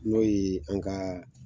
N'o ye an ka